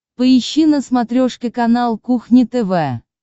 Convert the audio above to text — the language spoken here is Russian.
поищи на смотрешке канал кухня тв